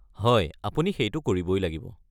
হয়, আপুনি সেইটো কৰিবই লাগিব।